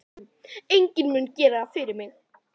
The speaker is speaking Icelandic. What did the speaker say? Enginn mun gera það fyrir mig.